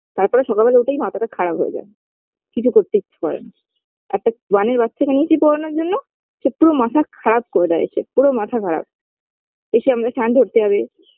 তারপরে সকালবেলা উঠেই মাথাটা খারাপ হয়ে যায় কিছু করতে ইচ্ছা করে না একটা one -এর বাচ্চাকে নিয়েছি পড়ানোর জন্য সে পুরো মাথা খারাপ করে দেয় এসে পুরো মাথা খারাপ এসে আমাদের ধরতে যাবে